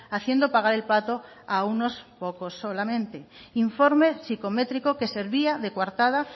haciendo pagar el pato a unos pocos solamente informe psicométrico que servía de coartada